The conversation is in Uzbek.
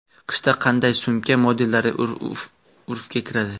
Qishda qanday sumka modellari urfga kiradi?